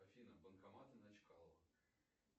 афина банкоматы на чкалова